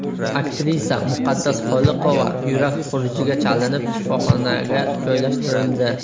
Aktrisa Muqaddas Xoliqova yurak xurujiga chalinib, shifoxonaga joylashtirildi.